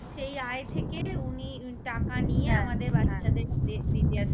সেই আয় থেকে উনি টাকা নিয়ে আমাদের বাচ্চাদের হাতে দিতে আসে